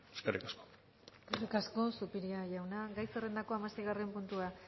eskerrik asko eskerrik asko zupiria jauna gai zerrendako hamaseigarren puntua